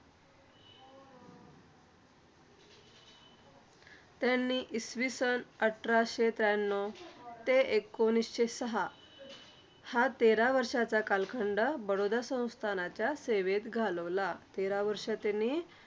आणि इसवी सन अठराशे त्र्याण्णव ते एकोणीसशे सहा हा तेरा वर्षाचा कालखंड बडोदा संस्थानाच्या सेवेत घालवला. तेरा वर्ष त्यांनी